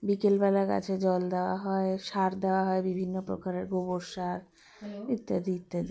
বিকেল বেলা গাছে জল দেওয়া হয় সার দেওয়া হয় বিভিন্ন প্রকারের গোবর সার ইত্যাদি ইত্যাদি